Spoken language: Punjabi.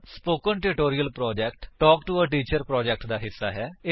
spoken tutorial project talk to a teacher project ਦਾ ਹਿੱਸਾ ਹੈ